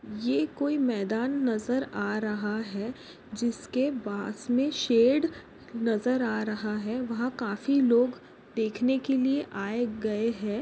ये कोई मैदान नज़र आ रहा है जिसके पास मे शेड नज़र आ रहा है वहा काफी लोग देखने के लिए आये गये है।